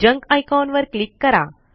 junk icon वर click करा